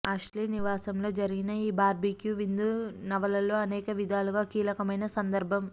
Ashley నివాసంలో జరిగిన ఈ బార్బిక్యూ విందు నవలలో అనేకవిధాలుగా కీలకమైన సందర్భం